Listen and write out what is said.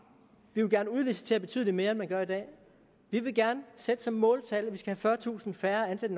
vi vil gerne udlicitere betydelig mere end man gør i dag vi vil gerne sætte som måltal at vi skal have fyrretusind færre ansatte